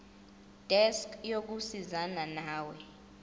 desk yokusizana nawe